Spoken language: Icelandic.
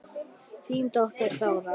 Þín dóttir, Þóra.